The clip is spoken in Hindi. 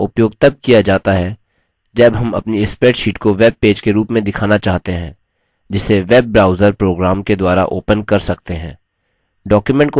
इस format का उपयोग तब किया जाता है जब हम अपनी spreadsheet को web पेज के रूप में दिखाना चाहते हैं जिसे web browser program के द्वारा opened कर सकते हैं